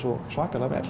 svona vel